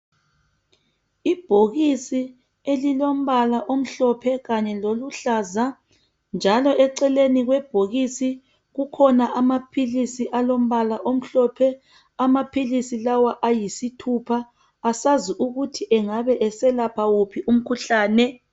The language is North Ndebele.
Ibhokisi elilombala omhlophe kanye loluhlaza njalo eceleni kwebhokisi kukhona amaphilisi alombala omhlophe. Amaphilisi lawa ayisithupha , asazi ukuthi engabe eselapha wuphi umkhuhlane.